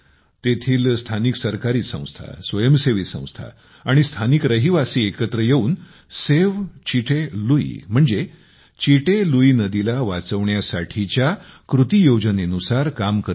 तेथील स्थानिक स्वराज्य संस्था स्वयंसेवी संस्था आणि स्थानिक रहिवासी एकत्र येऊन सेव्ह चिटे लुई म्हणजे चिटे लुईनदीला वाचवण्यासाठीच्या कृती योजनेनुसार काम करत आहेत